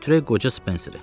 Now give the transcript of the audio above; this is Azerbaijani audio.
Elə götürək qoca Spenseri.